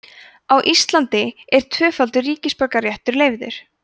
á íslandi er tvöfaldur ríkisborgararéttur leyfður